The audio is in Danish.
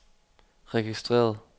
registreret